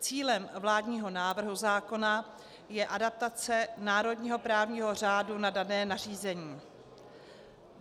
Cílem vládního návrhu zákona je adaptace národního právního řádu na dané nařízení.